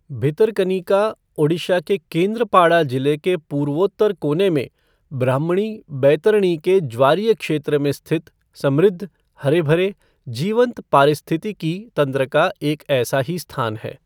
भितरकनिका ओडिशा के केंद्रपाड़ा जिले के पूर्वोत्तर कोने में ब्राह्मणी बैतरणी के ज्वारीय क्षेत्र में स्थित समृद्ध, हरे भरे, जीवंत पारिस्थितिकी तंत्र का एक ऐसा ही स्थान है।